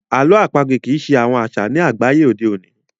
àlọ́ àpagbè kii ṣe àwọn aṣa ní àgbáyé òde oní